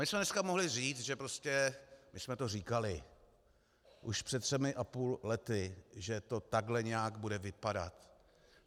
My bychom dneska mohli říct, že prostě my jsme to říkali už před třemi a půl lety, že to takhle nějak bude vypadat.